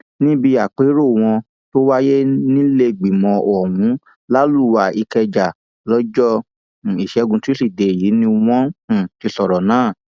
níbi àpérò wọn tó wáyé nílẹẹgbìmọ ohun làlùwá ìkẹjà lọjọ um ìṣẹgun túṣídéé yìí ni wọn um ti sọrọ náà